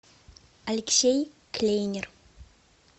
алексей клейнер